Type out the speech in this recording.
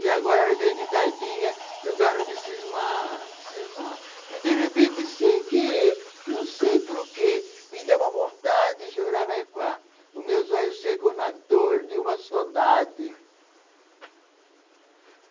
E agora vem de tardinha que eu garro de cismar, de cismar, e de repente, sem querer, não sei porquê, me dá uma vontade de chorar mais com a. Os meus olhos secam na dor de uma saudade.